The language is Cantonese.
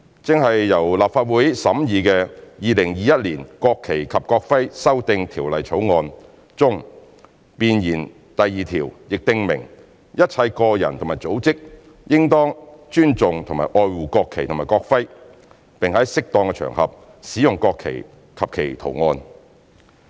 正由立法會審議的《2021年國旗及國徽條例草案》中，弁言第二條亦訂明"一切個人和組織都應當尊重和愛護國旗及國徽，並在適宜的場合使用國旗及其圖案"。